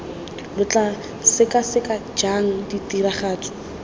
lo tla sekaseka jang tiragatso